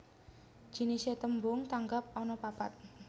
Jinisé tembung tanggap anapapat